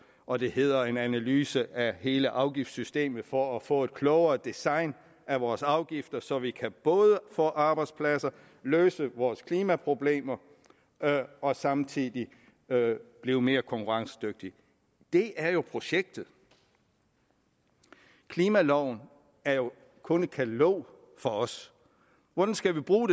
og det hedder en analyse af hele afgiftssystemet for at få et klogere design af vores afgifter så vi kan både få arbejdspladser løse vores klimaproblemer og samtidig blive mere konkurrencedygtige det er jo projektet klimaloven er jo kun et katalog for os hvordan skal vi bruge